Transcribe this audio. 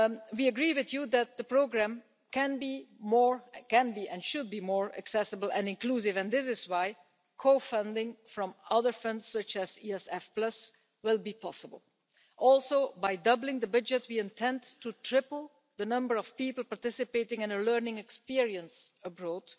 We agree with you that the programme can be and should be more accessible and inclusive, and this is why co funding from other funds, such as ESF, will be possible, also by doubling the budget we intend to triple the number of people participating in a learning experience abroad.